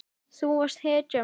Þú varst hetjan mín.